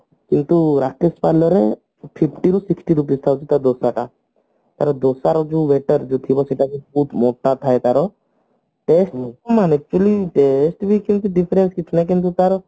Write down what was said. କିନ୍ତୁ ରାକେଶ parlor ରେ fifty ରୁ sixty ରହୁଛି ତା ଦୋସା ଟା ତାର ଦୋସା ର ଯୋଉ waiter ଯିଏ ଥିବ ତାକୁ ବହୁତ ମୋଟା ଥାଏ ତାର actually test ରେ ସେମତି କିଛି different କିଛି ନାଇଁ କିନ୍ତୁ ତାର